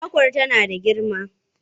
Kwakwar tana da girma?